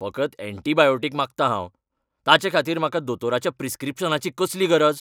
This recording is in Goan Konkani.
फकत एण्टिबायोटीक मागतां हांव! ताचेखातीर म्हाका दोतोराच्या प्रिस्क्रिप्शनाची कसली गरज?